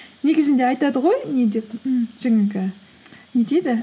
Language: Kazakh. негізінде айтады ғой не деп ммм жаңағы не дейді